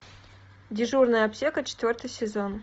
дежурная аптека четвертый сезон